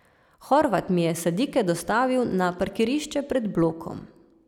Horvat mi je sadike dostavil na parkirišče pred blokom.